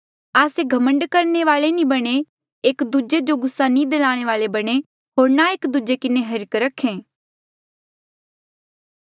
आस्से घमंड करणे वाले नी बणे एक दूजे जो गुस्सा नी दलाणे वाले बणे होर ना एक दूजे किन्हें हिर्ख रखा